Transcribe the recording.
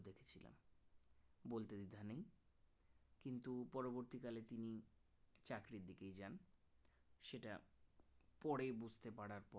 তো পরবর্তীকালে তিনি চাকরির দিকেই যান সেটা পরে বুঝতে পারার ফল